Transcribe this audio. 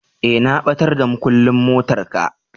eh na batar da mukullin motar ka.